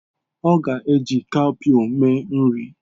Ọ ga-eji cowpea mee nri.